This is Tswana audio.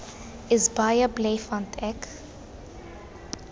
is baie bly want ek